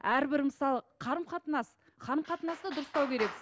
әрбір мысалы қарым қатынас қарым қатынасты дұрыстау керек